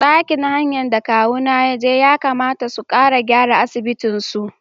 Ɗakin hayan da kawuna yaje Yakamata su ƙara gyara asibitin su.